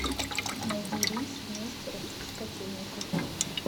найди рейс в нестеров из котельников